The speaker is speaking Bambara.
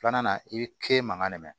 Filanan i bi mankan mɛ